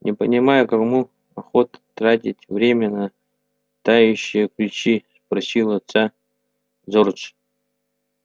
не понимаю кому охота тратить время на тающие ключи спросил отца джордж